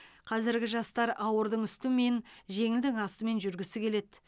қазіргі жастар ауырдың үстімен жеңілдің астымен жүргісі келеді